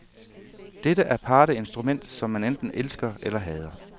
Dette aparte instrument, som man enten elsker eller hader.